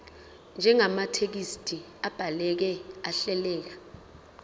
njengamathekisthi abhaleke ahleleka